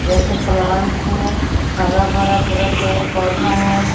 जैसे प्लांट हो हरा भरा पूरा पेड़ पौधा है।